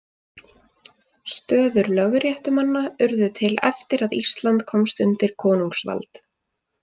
Stöður lögréttumanna urðu til eftir að Ísland komst undir konungsvald.